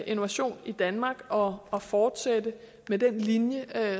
innovation i danmark og og fortsætte med den linje